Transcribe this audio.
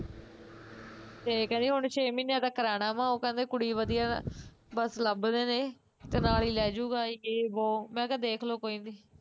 ਤੇ ਕਹਿੰਦੀ ਹੁਣ ਛੇ ਮਹੀਨਿਆ ਤਕਰ ਆਉਣਾ ਵਾ ਉਹ ਕਹਿੰਦੇ ਵੀ ਕੁੜੀ ਵਧੀਆ, ਬਸ ਲੱਭਦੇ ਨੇ, ਤੇ ਨਾਲ਼ ਈ ਲੇਜਊਗਾ ਯੇ ਬੋ, ਮੈਂ ਕਿਹਾ ਦੇਖਲੋ ਕੋਈ ਨੀ